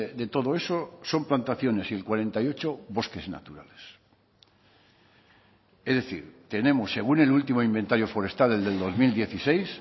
de todo eso son plantaciones y el cuarenta y ocho bosques naturales es decir tenemos según el último inventario forestal el del dos mil dieciséis